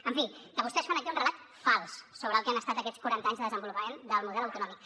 en fi que vostès fan aquí un relat fals sobre el que han estat aquests quaranta anys de desenvolupament del model autonòmic